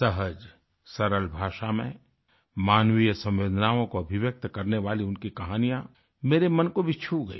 सहज सरल भाषा में मानवीय संवेदनाओं को अभिव्यक्त करने वाली उनकी कहानियाँ मेरे मन को भी छू गई